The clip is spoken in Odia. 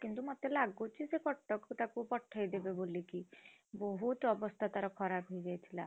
କିନ୍ତୁ ମତେ ଲାଗୁଛି ସେ କଟକକୁ ତାକୁ ପଠେଇଦେଇଦେବେ ବୋଲିକି ବହୁତ ଅବସ୍ଥା ତାର ଖରାପ ହେଇଯାଇଥିଲା।